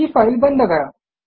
ही file बंद करा